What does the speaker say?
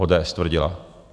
ODS tvrdila.